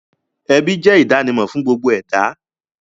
Ẹbí jẹ́ ìdánimọ̀ fún gbogbo ẹ̀dá